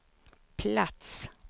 plats